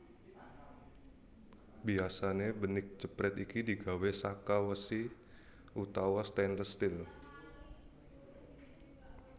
Biasane benik jepret iki digawé saka wesi utawa stainless steel